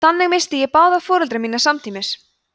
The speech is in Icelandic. þannig missti ég báða foreldra mína samtímis